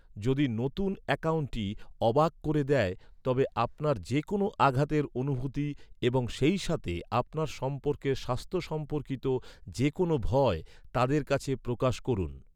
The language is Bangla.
যদি নতুন অ্যাকাউন্টটি অবাক করে দেয়, তবে আপনার যে কোনও আঘাতের অনুভূতি এবং সেইসাথে আপনার সম্পর্কের স্বাস্থ্য সম্পর্কিত যে কোনও ভয়, তাদের কাছে প্রকাশ করুন।